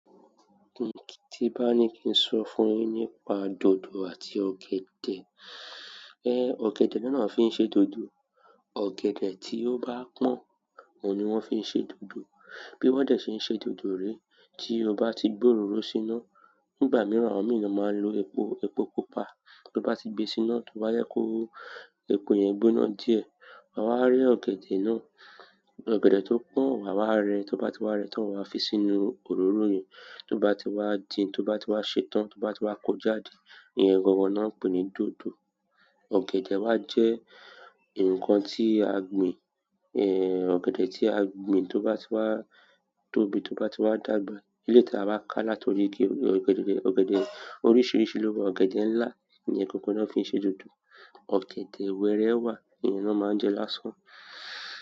Tí bá ní kí n sọ fún yín nípa dòdò àti ọ̀gẹ̀dẹ̀. Ẹ́, ọ̀gẹ̀dẹ̀ náà fi ń ṣe dòdò. Ọ̀gẹ̀dẹ̀ tí ó bá pọ̀n, òun ni wọ́n fi ń ṣe dòdò. Bí wọ́n dẹ ṣe ń ṣe dòdò ré, tí o bá ti gbé òróró síná, nígbà mìíràn, àwọn mìíràn máa ń lo epo, epo pupa. Tí o bá ti gbe síná, toba jẹ kó epo yẹn gbóná díẹ̀. A wá rẹ́ ọ̀gẹ̀dẹ̀ náà, ọ̀gẹ̀dẹ̀ tó pọ̀n, wa wá rẹ́, tó bá ti wá rẹ́ tán, a fi sínú òróró yẹn. Tó bá ti wá din, tó bá ti wá ṣe tán, tó bá ti wá kó jáde, iye gangan náà pé ní dòdò. Ọ̀gẹ̀dẹ̀ wá jẹ́ ǹkan tí a gbìn, ẹ, ọ̀gẹ̀dẹ̀ tí a gbìn tó bá ti wá tóbi, tó bá ti wá dàgbà. Eleyi tí a bá ká láti orí igi, ọ̀gẹ̀dẹ̀, ọ̀gẹ̀dẹ̀ oríṣìíríṣìí ló wà. Ọ̀gẹ̀dẹ̀ ńlá iyẹn gangan náà fi ń ṣe dòdò. Ọ̀gẹ̀dẹ̀ wẹẹrẹ wà, ìyẹn náà máa ń jẹ lásán.